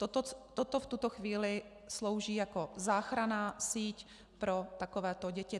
Toto v tuto chvíli slouží jako záchranná síť pro takovéto děti.